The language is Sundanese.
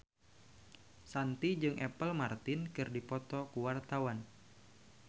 Shanti jeung Apple Martin keur dipoto ku wartawan